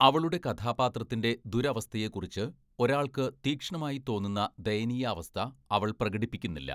അവളുടെ കഥാപാത്രത്തിൻ്റെ ദുരവസ്ഥയെക്കുറിച്ച് ഒരാൾക്ക് തീക്ഷ്ണമായി തോന്നുന്ന ദയനീയാവസ്ഥ അവൾ പ്രകടിപ്പിക്കുന്നില്ല.